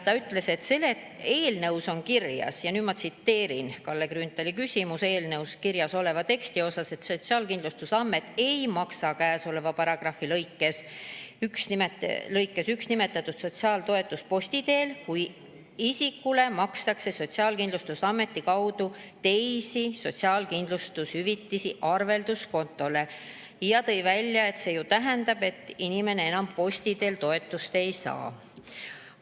Ta ütles, et eelnõus on kirjas – nüüd ma tsiteerin Kalle Grünthali küsimust eelnõu teksti kohta –, et Sotsiaalkindlustusamet ei maksa käesoleva paragrahvi lõikes 1 nimetatud sotsiaaltoetust posti teel, kui isikule makstakse Sotsiaalkindlustusameti kaudu teisi sotsiaalkindlustushüvitisi arvelduskontole, ja tõi välja, et see ju tähendab, et inimene enam posti teel toetust ei saa.